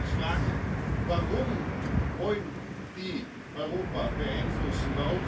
Wir müssen uns fragen Warum wollen die Europa beeinflussen?